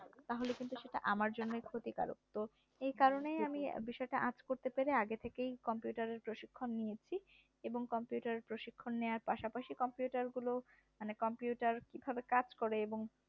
তাহলে কিন্তু সেটা আমার জন্যই ক্ষতিকারক তো এই কারণে আমি বিষয়টা আঁচ করতে পেরে আগে থেকেই computer এর প্রশিক্ষণ নিয়েছি। এবং computer প্রশিক্ষণ নেওয়ার পর পাশাপাশি computer গুলো মানে computer কাজ করে এবং